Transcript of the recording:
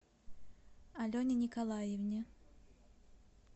алене николаевне